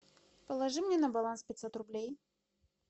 положи мне на баланс пятьсот рублей